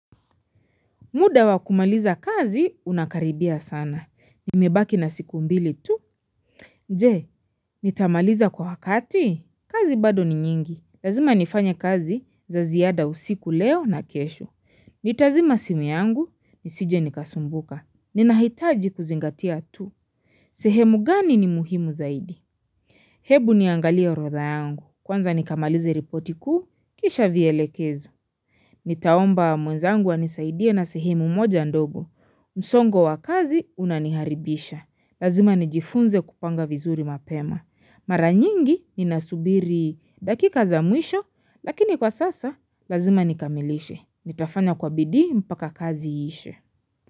Muda wakumaliza kazi unakaribia sana. Nimebaki na siku mbili tu. Je, nitamaliza kwa wakati? Kazi bado ni nyingi. Lazima nifanye kazi za ziada usiku leo na kesho. Nitazima simu yangu, nisije nikasumbuka. Ninahitaji kuzingatia tu. Sehemu gani ni muhimu zaidi? Hebu niangalie orodha yangu. Kwanza nikamalize ripoti kuu, kisha vielekezo. Nitaomba mwenzangu anisaidie na sehemu moja ndogo. Msongo wa kazi unaniharibisha. Lazima nijifunze kupanga vizuri mapema. Maranyingi ninasubiri dakika za mwisho, lakini kwa sasa lazima nikamilishe. Nitafanya kwa bidii mpaka kazi iishe.